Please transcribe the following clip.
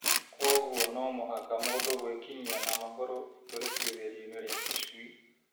Kwoguo no mũhaka mũndũ gwĩkinyia na magũrũ itũrĩkithĩrio -inĩ rĩa tũcui